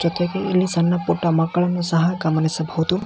ಜೊತೆಗೆ ಇಲ್ಲಿ ಸಣ್ಣ ಪುಟ್ಟ ಮಕ್ಕಳನ್ನು ಸಹ ಗಮನಿಸಬಹುದು .